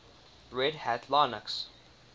red hat linux